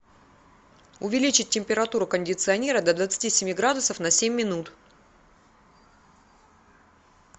увеличить температуру кондиционера до двадцати семи градусов на семь минут